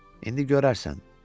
İndi görərsən.